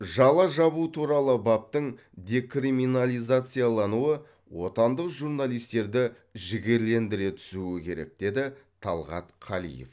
жала жабу туралы баптың декриминализациялануы отандық журналистерді жігерлендіре түсуі керек деді талғат қалиев